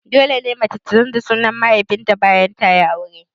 Dole ne mace ta canza sunan mahaifin ta bayan aure?